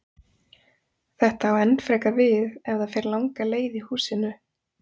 Þetta á enn frekar við ef það fer langa leið í húsinu.